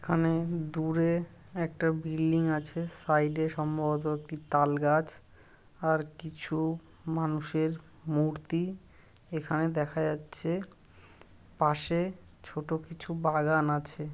এখানে দূরে একটা বিল্ডিং আছে। সাইড -এ সম্ভবত একটি তালগাছ আর কিছু মানুষের মূর্তি এখানে দেখা যাচ্ছে। পাশে ছোট কিছু বাগান আছে।